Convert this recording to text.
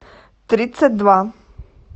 тридцать два